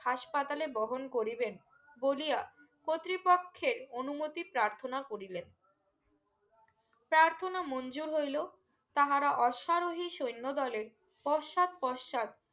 হাসপাতালে বহন করিবেন বলিয়া কর্তৃপক্ষের অনুমতি প্রার্থনা করিলেন প্রার্থনা মঞ্জুর হইলো তাহারা অসরাহী সৈন্য দলের পশ্চাৎ পশ্চাৎ